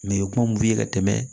Mɛ u ye kuma mun f'i ye ka tɛmɛ